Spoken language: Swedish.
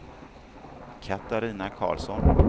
Katarina Carlsson